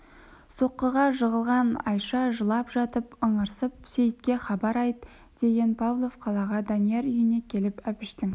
соққыға жығылған айша жылап жатып ыңырсып сейітке хабар айт деген павлов қалаға данияр үйіне келіп әбіштің